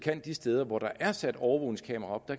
de steder hvor der er sat overvågningskameraer op